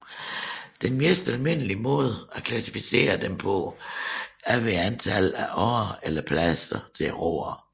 Den mest almindelige måde at klassificere dem på er ved antallet af årer eller pladser til roere